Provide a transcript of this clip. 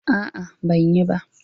A'a, ban yi ba.